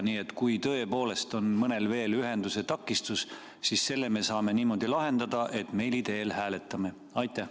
Nii et kui tõepoolest on mõnel veel ühenduse takistus, siis selle me saame niimoodi lahendada, et hääletame meili teel.